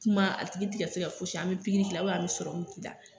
Kuma a tigi ti ka se ka fosi an bi pikiri k'i la an k'i la.